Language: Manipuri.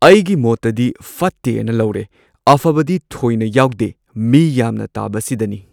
ꯑꯩꯒꯤ ꯃꯣꯠꯇꯗꯤ ꯐꯠꯇꯦ ꯑꯅ ꯂꯧꯔꯦ ꯑꯐꯕꯗꯤ ꯊꯣꯏꯅ ꯌꯥꯎꯗꯦ ꯃꯤ ꯌꯥꯝꯅ ꯇꯥꯕꯁꯤꯗꯅꯤ꯫